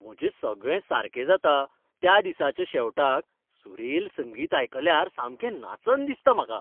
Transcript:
म्हजें सगळें सारकें जाता त्या दिसाच्या शेवटाक सुरेल संगीत आयकल्यार सामकें नाचन दिसता म्हाका.